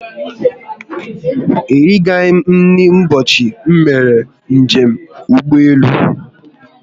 Erighi m nri ụbọchị m mere njem ụgbọelu ahụ